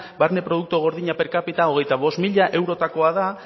barne produkto gordina per capita hogeita bost mila eurotakoa da